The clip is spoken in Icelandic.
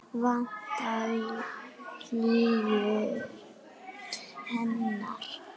Vantar hlýju hennar.